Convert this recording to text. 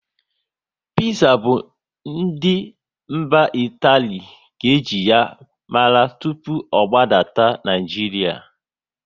Piza bụ ndị mba Itali ka eji ya mara tụpụ ọ gbadata n'Naijiria